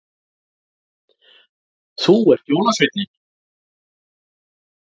Þú ert jólasveinninn